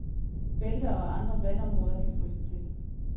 Bælter og andre vandområder kan fryse til.